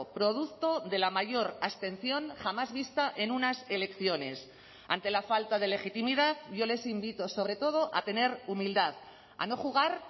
producto de la mayor abstención jamás vista en unas elecciones ante la falta de legitimidad yo les invito sobre todo a tener humildad a no jugar